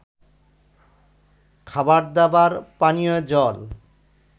খাবারদাবার, পানীয় জল